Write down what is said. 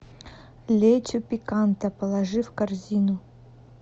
лечо пиканта положи в корзину